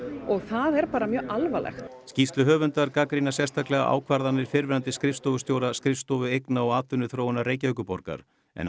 og það er bara mjög alvarlegt skýrsluhöfundar gagnrýna sérstaklega ákvarðanir fyrrverandi skrifstofustjóra skrifstofu eigna og atvinnuþróunar Reykjavíkurborgar en